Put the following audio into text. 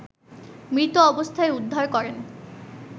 মৃত অবস্থায় উদ্ধার করেন